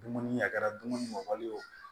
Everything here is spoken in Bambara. Dumuni a kɛra dumuni mɔli ye o